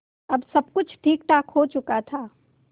अब सब कुछ ठीकठाक हो चुका था